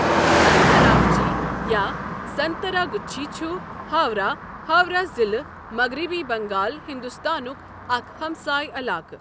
سنتراگچی، یا سنتراگچھی چھُ ہاورہ، ہاورہ ضلعہٕ، مغربی بنگال، ہندوستانُک اکھ ہَمسٲے علاقہٕ۔